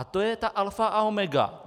A to je ta alfa a omega.